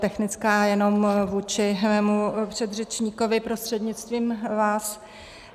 Technická jenom vůči mému předřečníkovi prostřednictvím vás.